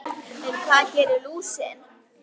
En hvað gerir lúsin?